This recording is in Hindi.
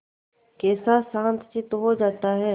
कैसा शांतचित्त हो जाता है